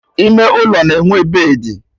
Ime ụlọ na-enwe bedị